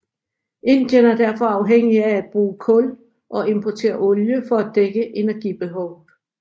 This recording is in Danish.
Indien er derfor afhængig af at bruge kul og importere olie for at dække energibehovet